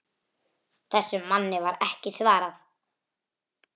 Þessum manni var ekki svarað.